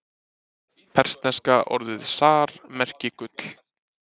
Persneska orðið zar merki gull.